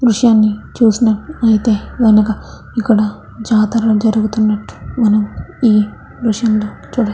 దృశ్యాన్ని చూసినట్ అయితే వెనక ఇక్కడ జాతర జరుగుతూన్నట్టు మనం ఈ దృశ్యంలో చూడవ --